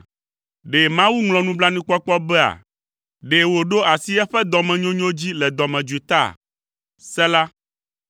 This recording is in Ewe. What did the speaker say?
Ɖe Mawu ŋlɔ nublanuikpɔkpɔ bea? Ɖe wòɖo asi eƒe dɔmenyonyo dzi le dɔmedzoe ta?” Sela